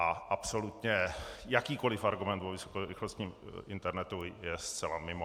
A absolutně jakýkoliv argument o vysokorychlostním internetu je zcela mimo.